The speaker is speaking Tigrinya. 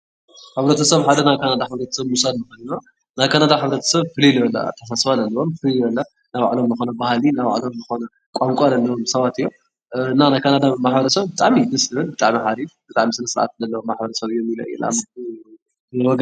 ሕ/ሰብ ሓደ ናይ ካናዳ ሕ/ሰብ ምውሳድ ንኽእል ኢና፡፡ ናይ ካናዳ ፍልይ ልበለ ኣታሓሳስባ ለለዎም ናይ ባዕሎም ዝኾነ ባህሊ ናይ ባዕሎም ልኾነ ቋንቋ ለለዎም ሰባት እዮም፡፡ እና ናይ ካናዳ ሕ/ሰብ ብጣዕሚ እዩ ደስ በሃሊ ብጣዕሚ ስነስርዓት ለለዎም ማ/ሰብ እዮም ኢለ እየ ልኣምን፡፡